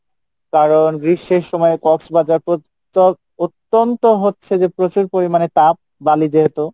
কারন গ্রীষ্মের সময় কক্সবাজার অতন্ত হচ্ছে যে প্রচুর পরিমাণে তাপ বালি যেহেতু